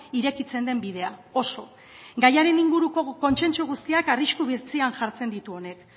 irekitzen den bidea oso gaiaren inguruko kontsentsu guztiak arrisku bizian jartzen ditu honek